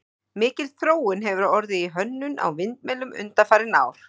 mikil þróun hefur orðið í hönnun á vindmyllum undanfarin ár